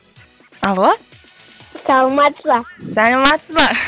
алло саламатсыз ба саламатсыз ба